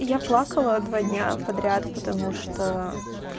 я плакала два дня подряд потому что